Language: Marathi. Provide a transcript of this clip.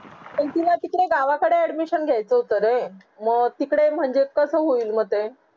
पण तिला तिकडे गाव कडे admission घेयचा होता रे मंग तिकडे म्हणजे कसा होईल मग ते